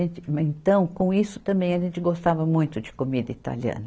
Então com isso também a gente gostava muito de comida italiana.